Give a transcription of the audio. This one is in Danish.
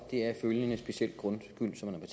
deraf følgende specielle grundskyld som man